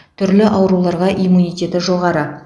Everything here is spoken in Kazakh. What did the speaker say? түрлі ауруларға иммунитеті жоғары